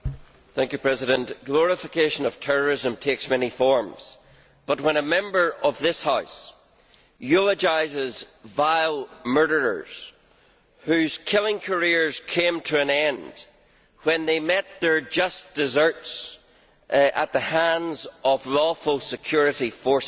Mr President, glorification of terrorism takes many forms, but when a Member of this House eulogises vile murderers, whose killing careers came to an end when they met their just desserts at the hands of lawful security forces,